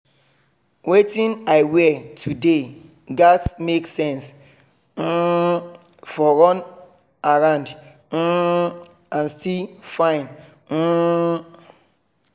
wetin i wear today gatz make sense um for run around um and still fine um